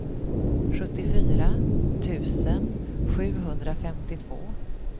sjuttiofyra tusen sjuhundrafemtiotvå